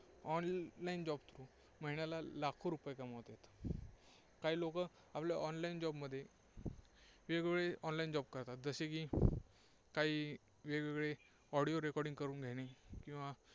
online job through महिन्याला लाखो रुपये कमवतात. काही लोकं आपल्या online job मध्ये वेगवेगळे online job करतात. जसे की काही वेगवेगळे audio recording करून घेणे